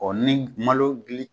Ɔ ni malo dili